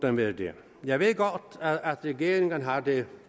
den være det jeg ved godt at regeringen har det